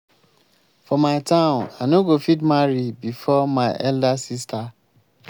for my town i no go fit marry before my elder sister